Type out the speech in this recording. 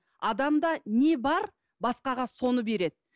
адамда не бар басқаға соны береді